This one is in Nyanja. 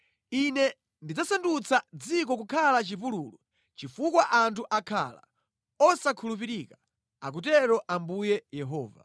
Ine ndidzasandutsa dziko kukhala chipululu chifukwa anthu akhala osakhulupirika, akutero Ambuye Yehova.’ ”